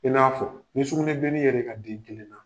I n'a fɔ nisukunɛbilennin yela e ka di kelen na